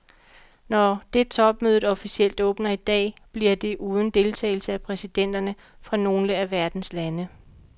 Når det topmødet officielt åbner i dag, bliver det uden deltagelse af præsidenterne fra nogle af verdens lande.